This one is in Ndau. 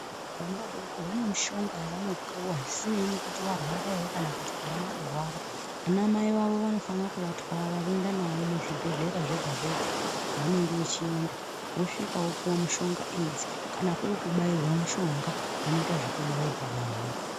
Vana vadoko vane mishonga yavanopuwa isinei nekuti varwara ere kana kuti avana kurwara ana mai vavo vanofana kuvatwara voenda navo muzvibhehlera zvega zvega kwavanenge vechienda vosvika vopuwe mushonga idzi kana kuri kubayirwa mushonga vanoita zvekubairwa vana